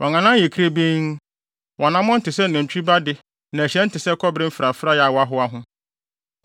Wɔn anan yɛ kirebenn, wɔn anammɔn te sɛ nantwi ba de na ɛhyerɛn te sɛ kɔbere mfrafrae a wɔahoa ho.